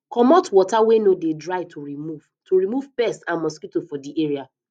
comot water wey no de dry to remove to remove pests and mosquito for di area